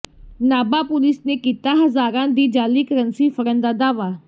Nabha police ਨੇ ਕੀਤਾ ਹਜ਼ਾਰਾਂ ਦੀ ਜਾਲੀ ਕਰੰਸੀ ਫੜਨ ਦਾ ਦਾਅਵਾ